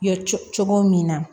Ye cogo min na